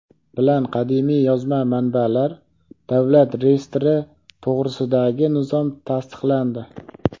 bilan Qadimiy yozma manbalar davlat reyestri to‘g‘risidagi nizom tasdiqlandi.